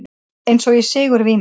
Eins og í sigurvímu.